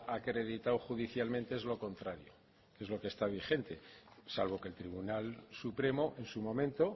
acreditado judicialmente es lo contrario es lo que está vigente salvo que el tribunal supremo en su momento